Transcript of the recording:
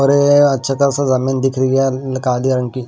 अच्छा खासा ज़मीन दिख रही है कालिया रंग की।